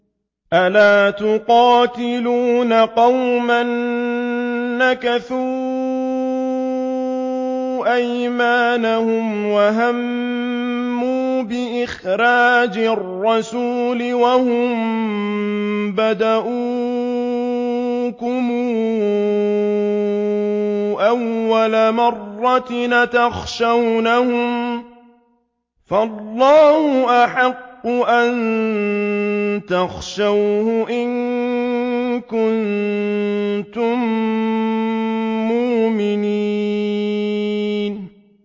أَلَا تُقَاتِلُونَ قَوْمًا نَّكَثُوا أَيْمَانَهُمْ وَهَمُّوا بِإِخْرَاجِ الرَّسُولِ وَهُم بَدَءُوكُمْ أَوَّلَ مَرَّةٍ ۚ أَتَخْشَوْنَهُمْ ۚ فَاللَّهُ أَحَقُّ أَن تَخْشَوْهُ إِن كُنتُم مُّؤْمِنِينَ